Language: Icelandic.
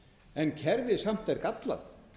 en kerfið er samt gallað